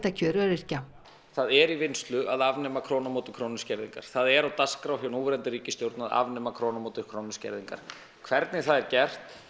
kjör öryrkja það er í vinnslu að afnema krónu á móti krónu skerðingar það er á dagskrá hjá núverandi ríkisstjórn að afnema krónu á móti krónu skerðingar hvernig það er gert